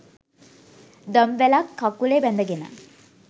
දම්වැලක්‌ කකුලේ බැඳගෙන